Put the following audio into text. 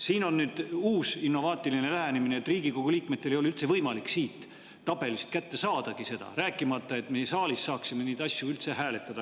Siin on nüüd uus innovaatiline lähenemine: Riigikogu liikmetel ei ole üldse võimalik siit tabelist seda kätte saadagi, rääkimata sellest, et me saalis saaksime neid asju üldse hääletada.